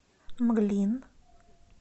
мглин